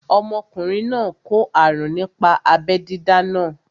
Ọmọkùnrin náà kó àrùn nípa abẹ́ dídá náà